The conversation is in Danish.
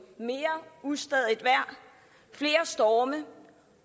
mere ustadigt vejr flere storme